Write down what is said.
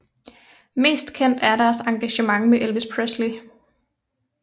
Mest kendt er deres engagement med Elvis Presley